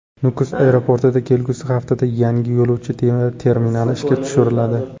Nukus aeroportida kelgusi haftada yangi yo‘lovchi terminali ishga tushiriladi.